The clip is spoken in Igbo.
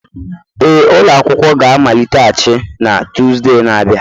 Ee, ụlọ akwụkwọ ga-amaliteghachi na Tuzdee na-abịa.